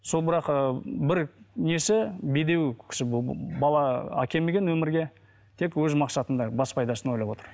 сол бірақ ыыы бір несі бедеу кісі бұл бала әкелмеген өмірге тек өз масқатында бас пайдасын ойлап отыр